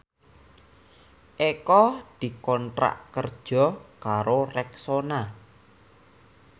Eko dikontrak kerja karo Rexona